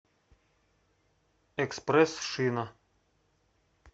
экспресс шина